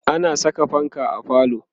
ana Saka fanka a falo